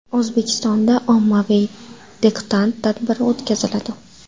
O‘zbekistonda ommaviy diktant tadbiri o‘tkaziladi.